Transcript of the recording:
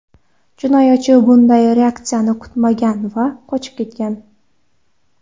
Jinoyatchi bunday reaksiyani kutmagan va qochib ketgan.